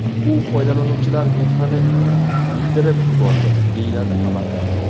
U foydalanuvchilar mehrini iydirib yubordi, deyiladi xabarda.